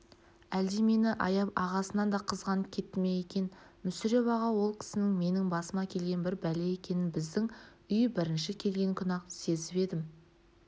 әлде мені аяп ағасынан да қызғанып кетті ме екен мүсіреп аға ол кісінің менің басыма келген бір бәле екенін біздің үйге бірінші келген күні-ақ сезіп едім